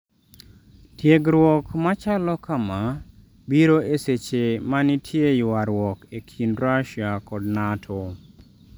Tiegruok machalo kama biro e seche ma nitie ywaruok e kind Russia kod Nato